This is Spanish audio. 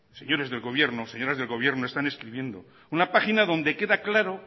señores del gobierno señoras del gobierno están escribiendo una página donde queda claro